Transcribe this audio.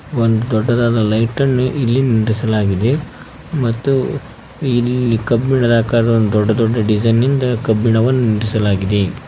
ಒಂದ ದೊಡ್ಡದಾದ ಲೈಟನ್ನು ಇಲ್ಲಿ ನಿಂದ್ರಿಸಲಾಗಿದೆ ಮತ್ತು ಇಲ್ಲಿ ಕಬ್ಬಿಣದ ಆಕಾರದ ದೊಡ್ಡ ದೊಡ್ಡ ಡಿಸೈನ್ ನಿಂದ ಕಬ್ಬಿಣವನ್ನು ನಿಂದ್ರಿಸಲಾಗಿದೆ.